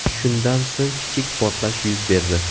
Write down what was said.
Shundan so‘ng kichik portlash yuz berdi.